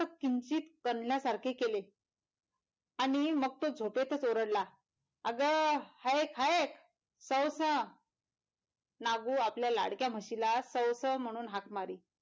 तो किंचित कणल्यासारखे केले आणि मग तो झोपेतच ओरडला आग हायक हायक साऊसा नागू आपल्या लाडक्या म्हशीला सौ सौ म्हणून हाक मारी,